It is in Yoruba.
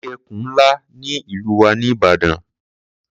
Mo rí ẹkùn ńlá ní ìlú wa ní Ìbàdàn.